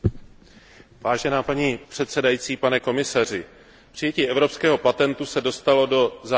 Paní předsedající, pane komisaři, přijetí evropského patentu se dostalo do závěrečné fáze.